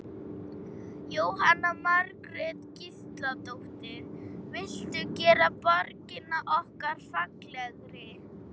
Jóhanna Margrét Gísladóttir: Viltu gera borgina okkar fallegri?